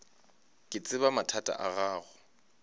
ke tseba mathata a gago